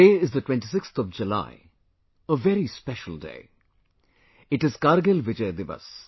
Today, is the 26th of July, a very special day...It is Kargil Vijay Diwas